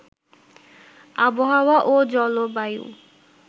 আবহাওয়া ও জলবায়ু